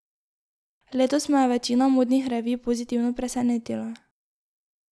Letos me je večina modnih revij pozitivno presenetila.